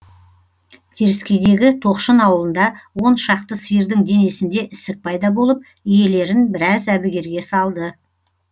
теріскейдегі тоқшын ауылында он шақты сиырдың денесінде ісік пайда болып иелерін біраз әбігерге салды